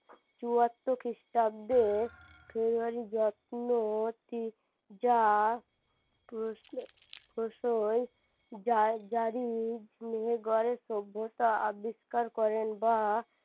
চুয়াত্তর খ্রিস্টাব্দে যা মেহেরগড়ের সভ্যতা আবিষ্কার করেন বা